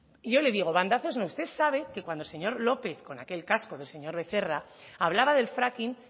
yo le digo bandazos no usted sabe que cuando el señor lópez con aquel casco del señor becerra hablaba del fracking